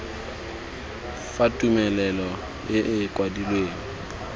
fa tumelelo e e kwadilweng